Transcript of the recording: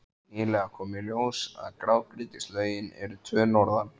Nýlega kom í ljós að grágrýtislögin eru tvö norðan